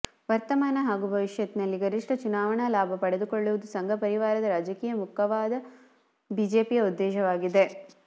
ವರ್ತಮಾನ ಹಾಗೂ ಭವಿಷ್ಯತ್ತಿನಲ್ಲಿ ಗರಿಷ್ಠ ಚುನಾವಣಾ ಲಾಭ ಪಡೆದುಕೊಳ್ಳುವುದು ಸಂಘಪರಿವಾರದ ರಾಜಕೀಯ ಮುಖವಾದ ಬಿಜೆಪಿಯ ಉದ್ದೇಶವಾಗಿದೆ